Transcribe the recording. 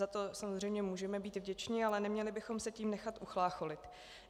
Za to samozřejmě můžeme být vděčni, ale neměli bychom se tím nechat uchlácholit.